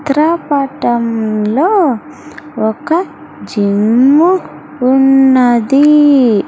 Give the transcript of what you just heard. చిత్ర పటంలో ఒక జిమ్ము ఉన్నది.